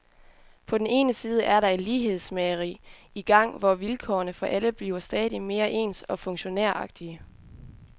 På den ene side er der et lighedsmageri i gang, hvor vilkårene for alle bliver stadig mere ens og funktionæragtige.